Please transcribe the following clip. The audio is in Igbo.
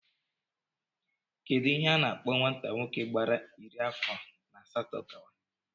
Kedụ ihe a na-akpọ nwata nwoke gbara iri afọ na asatọ gawa?